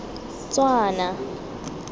tswana